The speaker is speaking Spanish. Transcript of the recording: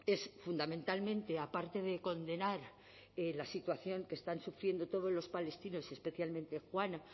es fundamentalmente aparte de condenar la situación que están sufriendo todos los palestinos y especialmente juana